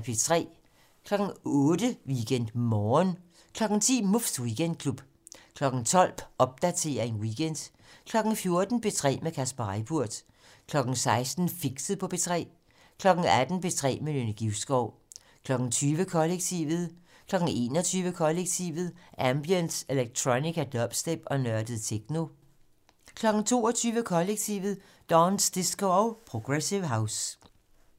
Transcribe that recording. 08:00: WeekendMorgen 10:00: Muffs Weekendklub 12:00: Popdatering weekend 14:00: P3 med Kasper Reippurt 16:00: Fixet på P3 18:00: P3 med Nynne Givskov 20:00: Kollektivet 21:00: Kollektivet: Ambient, electronica, dubstep og nørdet techno 22:00: Kollektivet: Dance, disco og progressive house